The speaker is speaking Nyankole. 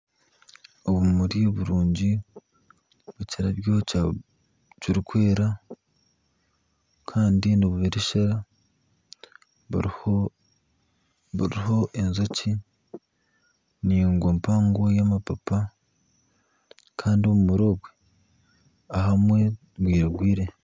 Obumuri birungi bw'ekirabyo kirukwera Kandi nibubereshera buruho enjoki ningwa mpango y'amapapa kandi obumuri obwe ahamwe bwiragwire.